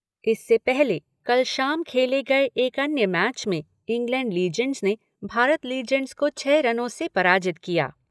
इससे पहले, कल शाम खेले गए एक अन्य मैच में इंग्लैण्ड लीजेंड्स ने भारत लीजेंड्स को छह रनों से पराजित किया।